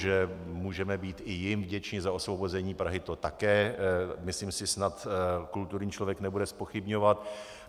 Že můžeme být i jim vděčni za osvobození Prahy, to také myslím si snad kulturní člověk nebude zpochybňovat.